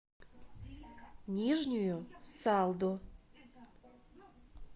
нижнюю салду